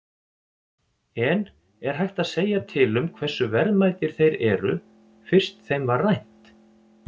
En er hægt að segja til um hversu verðmætir þeir eru, fyrst þeim var rænt?